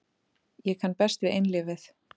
Ég kann best við einlífið.